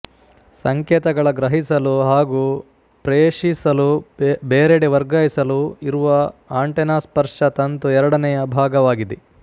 ಸಂಕೇತಗಳ ಗ್ರಹಿಸಲು ಹಾಗೂ ಪ್ರೇಷಿಸಲುಬೇರೆಡೆ ವರ್ಗಾಯಿಸಲು ಇರುವ ಆಂಟೆನಾಸ್ಪರ್ಶ ತಂತು ಎರಡನೆಯ ಭಾಗವಾಗಿದೆ